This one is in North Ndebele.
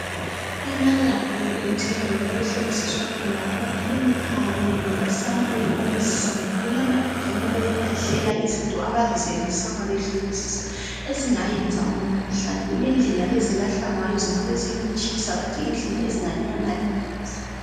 Ema Laboratory endaweni okuhlolisiswa khona amakhemikhali lamasampuli omzimba kulamabhimu okulahlela izinto abazisebenzisa ma behlolisisa ezingayenza umkhuhlane kulendlela ezilahlwa ngayo, zingabe ziyikutshisa but indlela ezinganyamalalisa